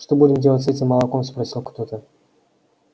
что будем делать с этим молоком спросил кто-то